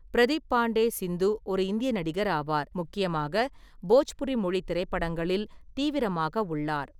பிரதீப் பாண்டே "சிந்து" ஒரு இந்திய நடிகர் ஆவார், முக்கியமாக போஜ்புரி மொழி திரைப்படங்களில் தீவிரமாக உள்ளார்.